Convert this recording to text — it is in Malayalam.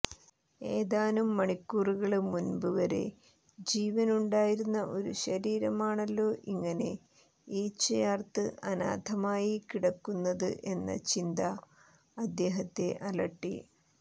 ഏതാനും മണിക്കൂറുകള്ക്ക് മുമ്പ് വരെ ജീവനുണ്ടായിരുന്ന ഒരു ശരീരമാണല്ലോ ഇങ്ങനെ ഈച്ചയാര്ത്ത് അനാഥമായി കിടക്കുന്നത് എന്ന ചിന്ത അദ്ദേഹത്തെ അലട്ടി